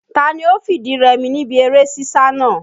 Ta ni ó fìdí rẹmi níbi eré sísá náà?